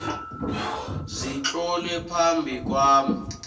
zitlolwe phambi kwami